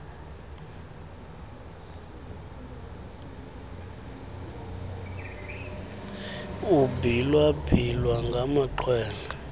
kubhila bhilwa ngamaxhwele